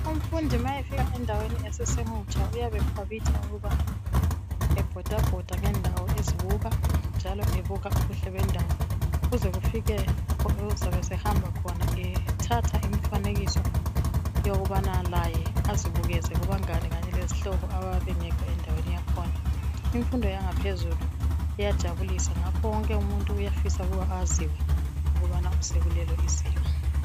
Umfundi ma efika endaweni esamutsha uyabe ekhwabitha ukuba ebhodabhoda ngendawo ezibukq njalo ebuka ubuhle bendawo kuze kufike lapho ozabe ehamba khona ethatha imifanekiso yokubana laye azibukeze kubangane kezihlobo abayabe bengekho endaweni yakhona. Imfundo yangaphezulu iyajabulisa ngakho wonke umuntu uyafisa ukubana aziwe ukuthi sekulelo izinga.